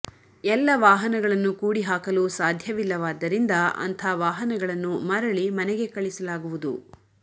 ಎಲ್ಲ ವಾಹನಗಳನ್ನು ಕೂಡಿ ಹಾಕಲು ಸಾಧ್ಯವಿಲ್ಲವಾದ್ದರಿಂದ ಅಂಥ ವಾಹನಗಳನ್ನು ಮರಳಿ ಮನೆಗೆ ಕಳಿಸಲಾಗುವುದು